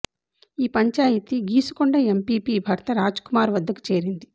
ఈ పంచాయితీ గీసుకొండ ఎంపీపీ భర్త రాజ్ కుమార్ వద్దకు చేరింది